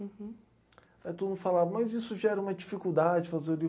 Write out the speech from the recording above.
Aí todo mundo falava, mas isso gera uma dificuldade fazer o livro.